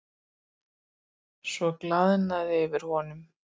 Svo glaðnaði yfir honum.